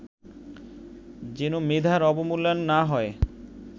যেন মেধার অবমূল্যায়ন না হয়